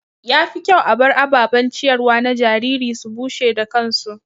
Ya fi kyau a bar ababen ciyarwa na jariri su bushe da kansu.